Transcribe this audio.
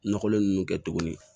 Nɔgɔlen ninnu kɛ tuguni